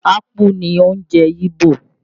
Akpu ni oúnjẹ Ìgbò